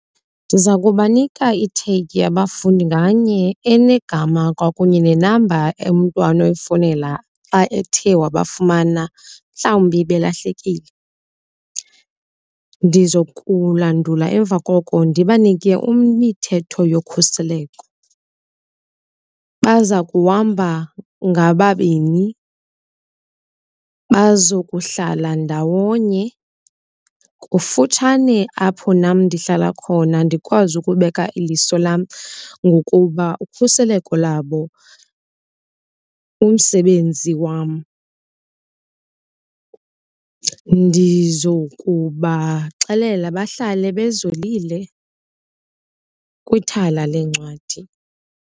Ndiza kubanika ithegi abafundi nganye enegama kwakunye nenamba umntu anoyifowunela xa ethe wabafumana mhlawumbi belahlekile. Ndizokulandula emva koko ndibanike imithetho yokhuseleko. Baza kuhamba ngababini, bazokuhlala ndawonye kufutshane apho nam ndihlala khona ndikwazi ukubeka iliso lam ngokuba ukhuseleko lwabo ngumsebenzi wam. Ndizokubaxelela bahlale bezolile kwithala leencwadi.